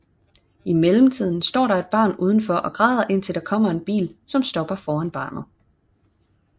I mellem tiden står der et barn uden for og græder indtil der kommer en bil som stopper foran barnet